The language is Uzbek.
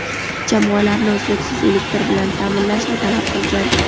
jamoalarni uzluksiz elektr bilan ta’minlashni talab qilgan.